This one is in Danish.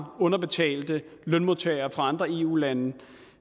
underbetalte lønmodtagere fra andre eu lande